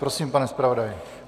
Prosím, pane zpravodaji.